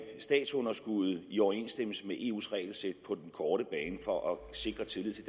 statsunderskuddet i overensstemmelse med eus regelsæt på den korte bane for at sikre tillid til